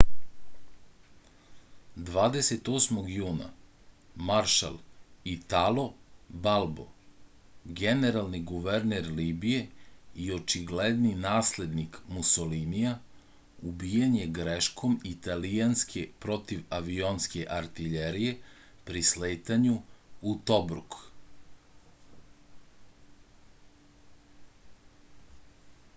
28. juna maršal italo balbo generalni guverner libije i očigledni naslednik musolinija ubijen je greškom italijanske protivavionske artljerije pri sletanju u tobruk